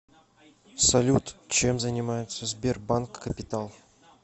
салют чем занимается сбербанк капитал